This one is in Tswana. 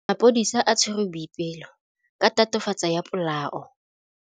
Maphodisa a tshwere Boipelo ka tatofatsô ya polaô.